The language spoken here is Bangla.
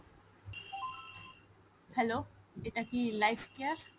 hello এটা কি life care ?